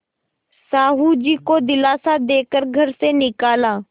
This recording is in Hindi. साहु जी को दिलासा दे कर घर से निकाला